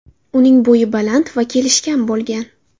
Uning bo‘yi baland va kelishgan bo‘lgan.